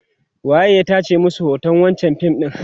waye ya tace masu hoton wancan fim ɗin?